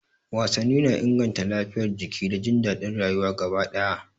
Wasanni na inganta lafiyar jiki da jin daɗin rayuwa gaba ɗaya.